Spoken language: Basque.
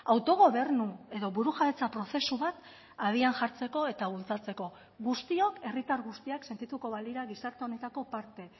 autogobernu edo burujabetza prozesu bat abian jartzeko eta bultzatzeko guztiok herritar guztiak sentituko balira gizarte honetako parte